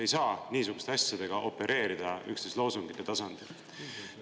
Ei saa niisuguste asjadega opereerida üksnes loosungite tasandil!